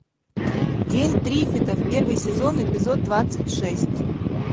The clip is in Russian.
день триффидов первый сезон эпизод двадцать шесть